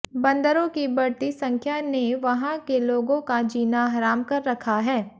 बंदरों की बढ़ती संख्या ने वहां के लोगों का जीना हराम कर रखा है